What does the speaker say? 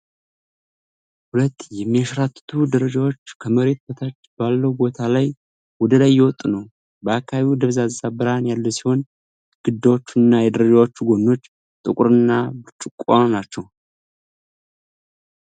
ሁለት የሚያንሸራትቱ ደረጃዎች ከመሬት በታች ባለው ቦታ ላይ ወደ ላይ እየወጡ ነው። በአካባቢው ደብዛዛ ብርሃን ያለ ሲሆን፣ ግድግዳዎቹ እና የደረጃዎቹ ጎኖች ጥቁር እና ብርጭቆ ናቸው።